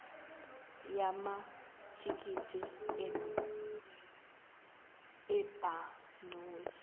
yamathikithi enu ebhanoyi